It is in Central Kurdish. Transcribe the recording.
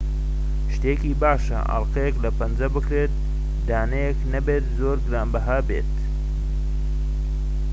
شتێکی باشە ئەڵقەیەك لە پەنجە بکرێت دانەیەك نەبێت زۆر گرانبەها دیار بێت